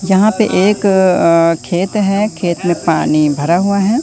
जहां पे एक अं खेत है खेत में पानी भरा हुआ है।